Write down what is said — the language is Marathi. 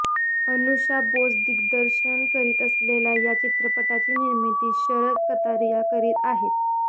अनुषा बोस दिग्द्रशन करीत असलेल्या या चित्रपटाची निर्मिती शरत कतारिया करीत आहेत